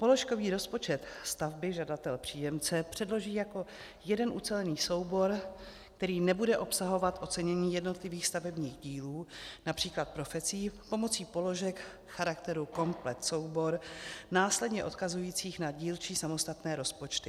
Položkový rozpočet stavby žadatel-příjemce předloží jako jeden ucelený soubor, který nebude obsahovat ocenění jednotlivých stavebních dílů, například profesí, pomocí položek charakteru komplet soubor, následně odkazujících na dílčí samostatné rozpočty.